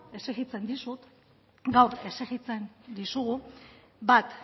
exijitzen dizut gaur exijitzen dizugu bat